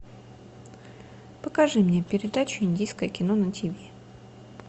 покажи мне передачу индийское кино на тв